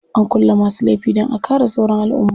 Ana kulle masu laifi dan a kare sauran alumma.